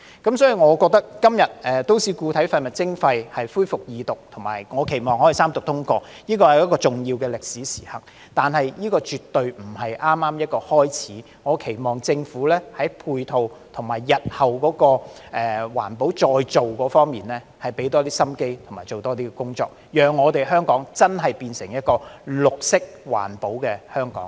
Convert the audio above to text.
因此，我認為今天《條例草案》恢復二讀，以及我期望可以三讀通過，這是重要的歷史時刻，但這絕對不是剛剛開始的......我期望政府在配套，以及日後環保再造方面投入更多心機和做更多工作，讓香港真的變成綠色環保的香港。